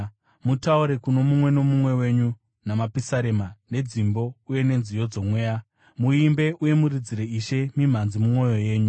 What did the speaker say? Mutaure kuno mumwe nomumwe wenyu namapisarema, nedzimbo uye nenziyo dzomweya. Muimbe uye muridzire Ishe mimhanzi mumwoyo yenyu,